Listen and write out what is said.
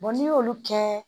n'i y'olu kɛ